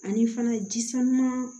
Ani fana ji sanuman